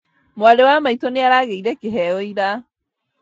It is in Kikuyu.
Mwarĩ wa maitũ nĩaragĩire kĩheo ira